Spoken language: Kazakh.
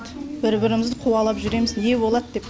бір бірімізді қуалап жүреміз не болады деп